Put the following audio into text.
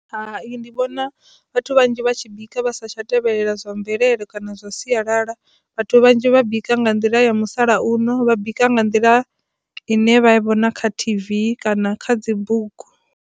Hai, ndi vhona vhathu vhanzhi vha tshi bika vha sa tsha tevhelela zwa mvelele kana zwa sialala vhathu vhanzhi vha bika nga nḓila ya musalauno vha bika nga nḓila ine vha vhona kha t_v kana kha dzi bugu.